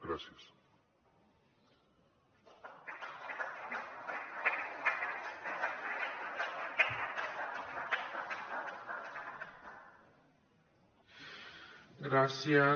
gràcies